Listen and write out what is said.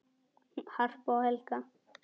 Harpa og Helga.